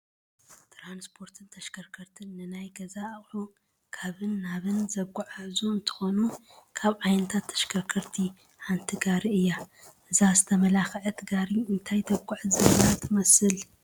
ትራንስፖርትን ተሽከርከርትን፡- ንናይ ገዛ ኣቑሑ ካብን ናብን ዘጓዓዕዙ እንትኾኑ ካብ ዓይነታት ተሽከርከርቲ ሓንቲ ጋሪ እያ፡፡ እዛ ዝተመላኸዐት ጋሪ እንታይ ተጓዕዝ ዘላ ትመስል?